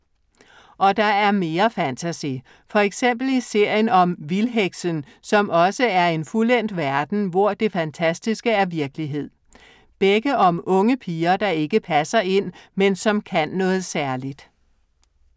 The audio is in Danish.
Og der er mere fantasy. For eksempel i serien om Vildheksen, som også er en fuldendt verden, hvor det fantastiske er virkelighed. Begge om unge piger, der ikke passer ind, men som kan noget særligt.